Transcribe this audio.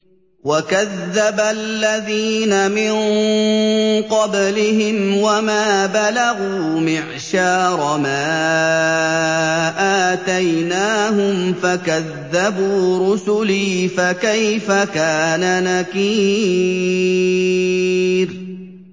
وَكَذَّبَ الَّذِينَ مِن قَبْلِهِمْ وَمَا بَلَغُوا مِعْشَارَ مَا آتَيْنَاهُمْ فَكَذَّبُوا رُسُلِي ۖ فَكَيْفَ كَانَ نَكِيرِ